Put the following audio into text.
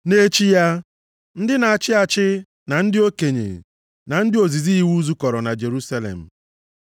Nʼechi ya, ndị na-achị achị, na ndị okenye na ndị ozizi iwu zukọrọ na Jerusalem.